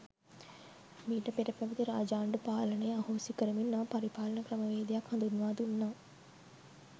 මීට පෙර පැවැති රාජාණ්ඩු පාලනය අහෝසි කරමින් නව පරිපාලන ක්‍රමවේදයක් හඳුන්වා දුන්නා.